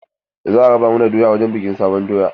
Za a raba mana doya wurin bikin sabon doya.